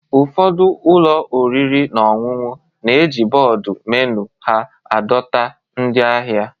Ụfọdụ ụlọ oriri na ọṅụṅụ na-eji bọọdụ menu ha adọta ndị ahịa